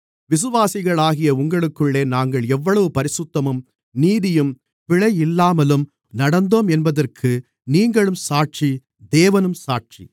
விசுவாசிகளாகிய உங்களுக்குள்ளே நாங்கள் எவ்வளவு பரிசுத்தமும் நீதியும் பிழையில்லாமலும் நடந்தோம் என்பதற்கு நீங்களும் சாட்சி தேவனும் சாட்சி